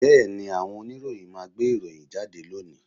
Bẹ́ẹ̀ni, àwọn oníròyìn máa gbé ìròyìn jáde lónìí